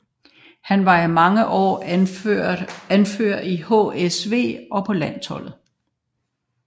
Han var i mange år anfører i HSV og på landsholdet